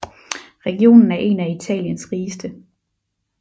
Regionen er en af Italiens rigeste